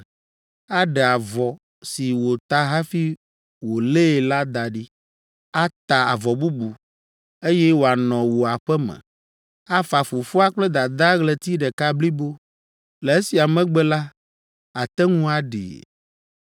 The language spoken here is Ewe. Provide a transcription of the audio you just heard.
aɖe avɔ si wòta hafi wolée la da ɖi, ata avɔ bubu, eye wòanɔ wò aƒe me, afa fofoa kple dadaa ɣleti ɖeka blibo. Le esia megbe la, àte ŋu aɖee.